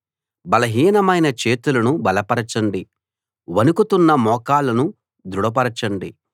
బలహీనమైన చేతులను బలపరచండి వణుకుతున్న మోకాళ్లను దృఢపరచండి